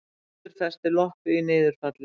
Hundur festi loppu í niðurfalli